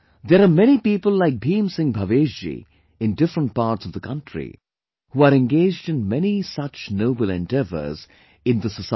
There are many people like Bhim Singh Bhavesh ji in different parts of the country, who are engaged in many such noble endeavours in the society